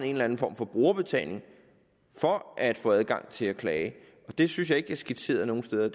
en eller anden form for brugerbetaling for at få adgang til at klage det synes jeg ikke er skitseret nogen steder